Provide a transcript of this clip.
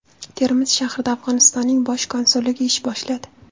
Termiz shahrida Afg‘onistonning bosh konsulligi ish boshladi.